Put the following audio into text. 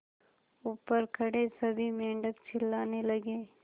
ऊपर खड़े सभी मेढक चिल्लाने लगे